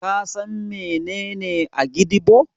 Ka san menene Agidigbo?